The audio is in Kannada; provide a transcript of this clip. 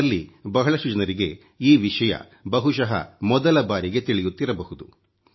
ನಿಮ್ಮಲ್ಲಿ ಬಹಳಷ್ಟು ಜನರಿಗೆ ಈ ವಿಷಯ ಬಹುಶಃ ಮೊದಲ ಬಾರಿಗೆ ತಿಳಿಯುತ್ತಿರಬಹುದು